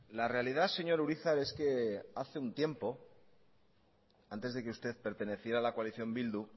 la realidad señor urizar es que hace un tiempo antes de que usted perteneciera a la coalición bildu